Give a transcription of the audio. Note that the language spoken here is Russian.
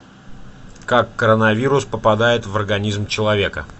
как коронавирус попадает в организм человека